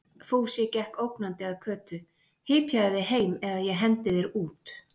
Fúsi gekk ógnandi að Kötu: Hypjaðu þig heim eða ég hendi þér út!